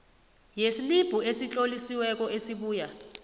yeslibhu esitlolisiweko esibuya